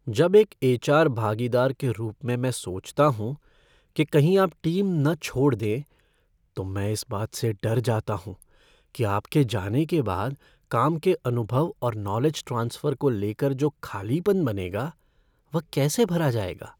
जब एक एच.आर. भागीदार के रूप में मैं सोचता हूँ कि कहीं आप टीम न छोड़ दें, तो मैं इस बात से डर जाता हूँ कि आपके जाने के बाद काम के अनुभव और नॉलेज ट्रांसफ़र को लेकर जो खालीपन बनेगा वह कैसे भरा जाएगा।